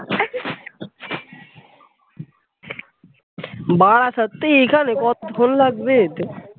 বারাসাত তো এইখানে কতক্ষণ লাগবে যেতে?